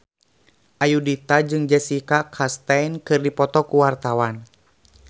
Ayudhita jeung Jessica Chastain keur dipoto ku wartawan